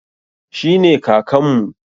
Shi ne Kakanmu.